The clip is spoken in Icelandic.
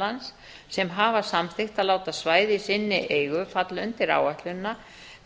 einkalands sem hafa samþykkt að láta svæði í sinni eigu falla undir áætlunina